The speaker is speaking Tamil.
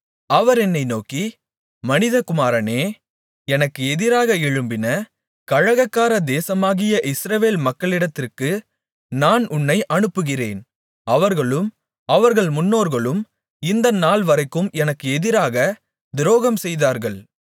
அவர் என்னை நோக்கி மனிதகுமாரனே எனக்கு எதிராக எழும்பின கலகக்கார தேசமாகிய இஸ்ரவேல் மக்களிடத்திற்கு நான் உன்னை அனுப்புகிறேன் அவர்களும் அவர்கள் முன்னோர்களும் இந்த நாள்வரைக்கும் எனக்கு எதிராக துரோகம் செய்தார்கள்